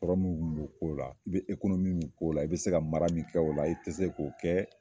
Kɔrɔ mu b'o ko la i be ekonomi min k'ola i be se ka mara min kɛ ola i te se k'o kɛ